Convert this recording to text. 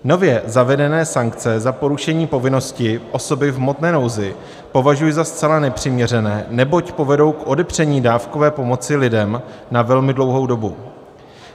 Nově zavedené sankce za porušení povinnosti osoby v hmotné nouzi považuji za zcela nepřiměřené, neboť povedou k odepření dávkové pomoci lidem na velmi dlouhou dobu.